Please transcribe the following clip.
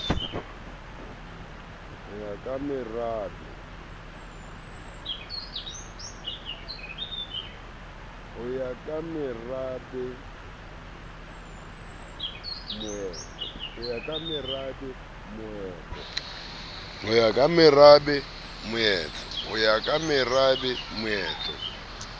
ho ya ka merabe moetlo